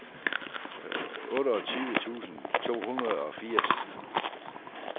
otteogtyve tusind to hundrede og firs